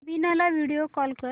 वीणा ला video call कर